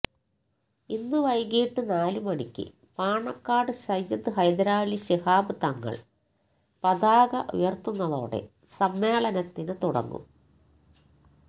ഇന്ന് വൈകീട്ട് നാല് മണിക്ക് പാണക്കാട് സയ്യിദ് ഹൈദരലി ശിഹാബ് തങ്ങള് പതാക ഉയര്ത്തുന്നതോടെ സമ്മേളനത്തിന് തുടങ്ങും